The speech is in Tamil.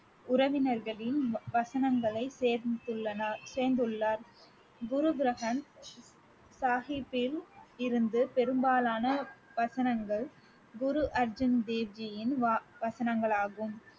உறவினர்களின் வசனங்களை சேர்ந்துள்ளார் குரு கிரந்த சாஹிப்பில் இருந்து பெரும்பாலான வசனங்கள் குரு அர்ஜுன் தேவ்ஜியின் வா~ வசனங்களாகும்